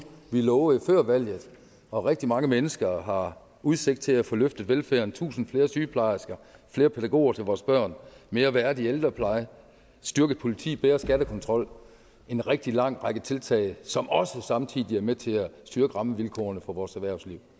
vi lovede før valget og rigtig mange mennesker har udsigt til at få løftet velfærden tusind flere sygeplejersker flere pædagoger til vores børn mere værdig ældrepleje styrket politi bedre skattekontrol en rigtig lang række tiltag som også samtidig med til at styrke rammevilkårene for vores erhvervsliv